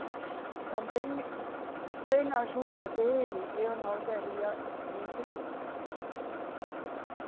Mas também, sem a ajuda dele, eu não teria conseguido, né? Uhum.